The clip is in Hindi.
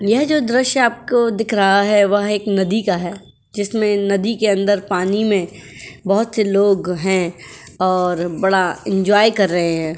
यह जो दृश्य आपको दिख रहा है वह एक नदी का है जिसमें नदी के अंदर पानी में बोहोत से लोग हैं और बड़ा एंजॉय कर रहे हैं।